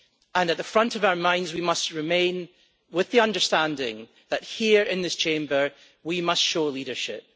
At the forefront of our minds, we must retain the understanding that, here in this Chamber, we must show leadership.